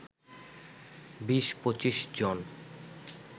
২০-২৫ জন